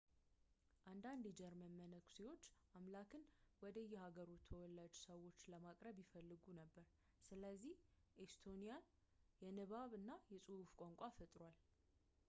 አንዳንድ የጀርመን መነኩሴዎች አምላክን ወደ የሃገሩ ተወላጅ ሰዎች ለማቅረብ ይፈልጉ ነበር ስለዚህ ኤስቶኒያዊ የንባብ እና የፅሑፍ ቋንቋ ፈጥሩ